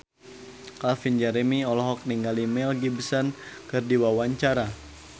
Calvin Jeremy olohok ningali Mel Gibson keur diwawancara